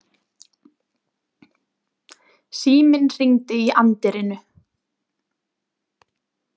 Síminn hringdi í anddyrinu.